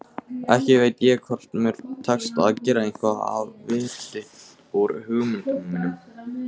Ekki veit ég hvort mér tekst að gera eitthvað af viti úr hugmyndum mínum.